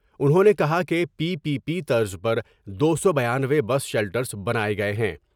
انہوں نے کہا کہ پی پی پی طرز پر دو سو بانوے بس شیلٹرس بناۓ گئے ہیں ۔